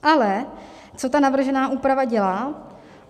Ale co ta navržená úprava dělá?